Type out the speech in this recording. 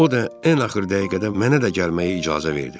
O da ən axır dəqiqədə mənə də gəlməyə icazə verdi.